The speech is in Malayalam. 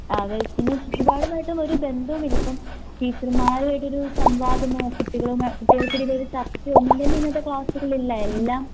ആ അതെ പിന്നെ ചുറ്റുപാടുമായിട്ടുമൊര് ബന്ദോമില്ലിപ്പം ടീച്ചർമാരുവായിട്ടൊരു സംവാദമോ കുട്ടികളുമാ കുട്ടികൾക്കിടയിലൊരു ചർച്ചയോ ഒന്നുംതന്നെ ഇന്നത്തെ ക്ലാസ്സുകളില്ല എല്ലാം